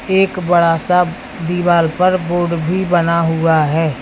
एक बड़ा सा दीवाल पर बोर्ड भी बना हुआ है।